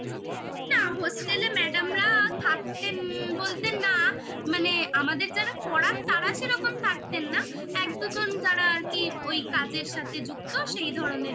না hostel এ madam রা থাকতেন বলতে না মানে আমাদের যারা পড়ান তারা সেরকম থাকতেন না এক দুজন যারা আর কি ওই কাজের সাথে যুক্ত সেই ধরনের